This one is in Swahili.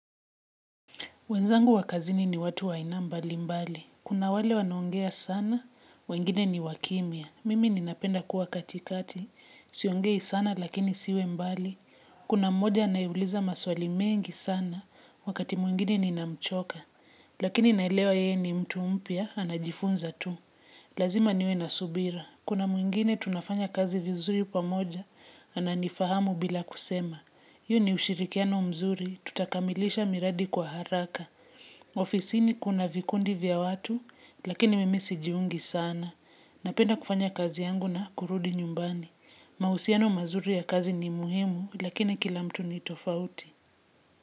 Wenzangu wa kazini ni watu wa aina mbali mbali. Kuna wale wanoongea sana, wengine ni wakimya. Mimi ninapenda kuwa katikati, siongei sana lakini siwe mbali. Kuna mmoja anayeuliza maswali mengi sana, wakati mwingine ninamchoka. Lakini naelewa ye ni mtu mpya, anajifunza tu. Lazima niwe na subira. Kuna mwingine tunafanya kazi vizuri pamoja, ananifahamu bila kusema. Iyo ni ushirikiano mzuri, tutakamilisha miradi kwa haraka. Ofisini kuna vikundi vya watu, lakini mimi sijiungi sana. Napenda kufanya kazi yangu na kurudi nyumbani. Mahusiano mazuri ya kazi ni muhimu, lakini kila mtu ni tofauti.